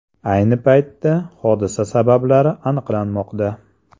Ayni paytda hodisa sabablari aniqlanmoqda.